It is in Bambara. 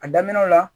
A daminɛw la